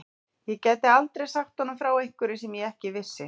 Ég gæti aldrei sagt honum frá einhverju sem ég ekki vissi.